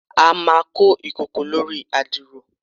a ma ko ikoko lori adiro